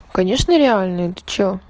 конечно реальные ты что